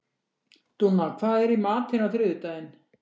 Dúnna, hvað er í matinn á þriðjudaginn?